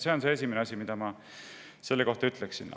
See on esimene asi, mis ma selle kohta ütleksin.